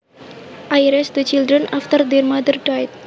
I raised the children after their mother died